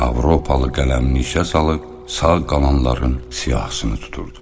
Avropalı qələmni işə salıb sağ qalanların siyahısını tuturdu.